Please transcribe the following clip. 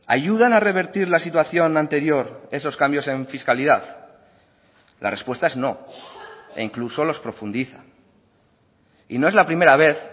ayudan a revertir la situación anterior esos cambios en fiscalidad la respuesta es no e incluso los profundiza y no es la primera vez